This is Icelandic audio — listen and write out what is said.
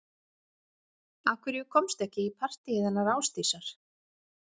Af hverju komstu ekki í partíið hennar Ásdísar